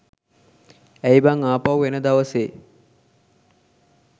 ඇයි බං ආපහු එන දවසේ